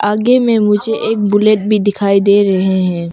आगे में मुझे एक बुलेट भी दिखाई दे रहे हैं।